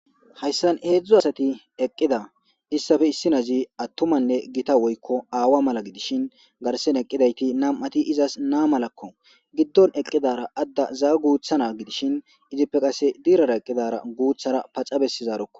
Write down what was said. Hayssan heedzdzu asati eqqida issafe issi nazi attumanne gita woykko aawa mala gidishin garsen eqqidayti nam7ati izas naa malakko giddon eqqidara adda zaa guuthana gidishin izippe qasse diirara eqqidara guuthara paxa bessizarokko.